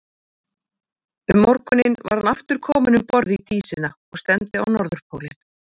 Undir morgun var hann aftur kominn um borð í Dísina og stefndi á Norðurpólinn.